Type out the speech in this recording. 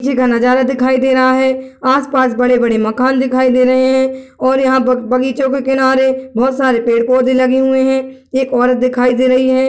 किसी का नजारा दिखाई दे रहा है आस-पास बड़े-बड़े मकान दिखाई दे रहे हैं और यहाँ बग-बगीचे के किनारे बहोत सारे पेड़-पौधे लगे हुए हैं एक औरत दिखाई दे रही है।